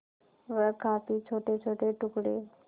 वह काफी छोटेछोटे टुकड़े